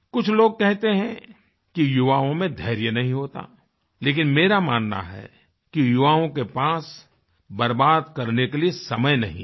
कुछ लोग कहते हैं कि युवाओं में धैर्य नहीं होता लेकिन मेरा मानना है कि युवाओं के पास बर्बाद करने के लिए समय नहीं है